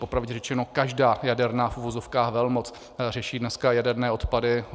Popravdě řečeno, každá jaderná v uvozovkách velmoc řeší dneska jaderné odpady.